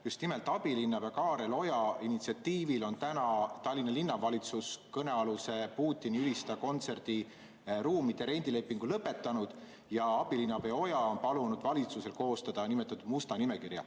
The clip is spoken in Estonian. Just nimelt abilinnapea Kaarel Oja initsiatiivil on täna Tallinna Linnavalitsus kõnealuse Putini ülistaja kontserdi ruumide rendi lepingu lõpetanud ja abilinnapea Oja on palunud valitsusel koostada niinimetatud musta nimekirja.